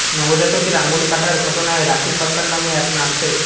নবজাতকের আঙুল কাটার ঘটনায় রাখি সরকার নামে এক নার্সের